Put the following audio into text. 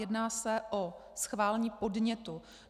Jedná se o schválení podnětu.